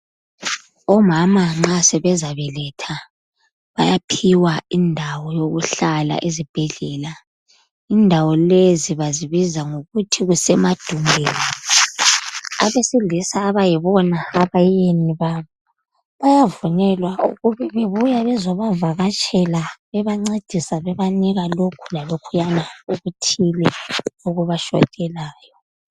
Omama nxa sebezabeletha bayaphiwa indawo yokuhlala ezibhedlela. Indawo lezi bazibiza ngokuthi kusemadumbeni. Abesilisa abayibona abayeni babo, bayavunyelwa ukubebebuya bezobavakatshela bebancedisa bebanika lokho lalokhuya okuthile okubashotelayo.